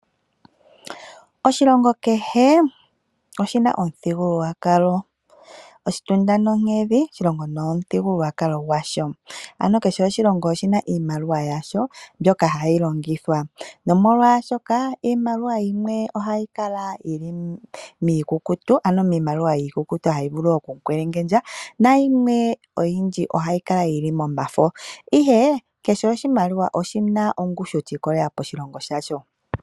Oshilongo kehe oshina omuthigululwakalo . Oshitunda nohedhi oshilongo nomuthigululwakalo gwasho. Ano kehe oshilongo oshina iimaliwa yasho mbyoka hayi longithwa nomolwaashoka iimaliwa yimwe ohayi kala yili miikukutu hayi vulu okukwelengendja nayimwe oyindji ohayi kala yili momafo. Kehe oshimaliwa oshina ongushu yiikwatelela koshilongo shasho.